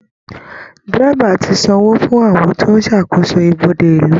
Dẹ́rẹ́baà ti san owó fún àwọn tó ń ṣàkósò ibodè ìlú